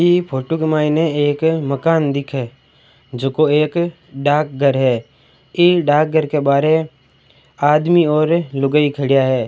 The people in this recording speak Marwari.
ई फोटो में एक मकान दिखे है जो एक डाक घर है इ डाक घर के बाहर आदमी और लुगाई खड़ा है।